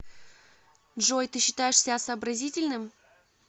джой ты считаешь себя сообразительным